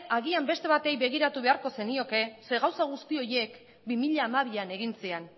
agian beste bati begiratu beharko zenioke zeren gauza guzti horiek bi mila hamabian egin ziren